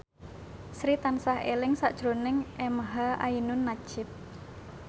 Sri tansah eling sakjroning emha ainun nadjib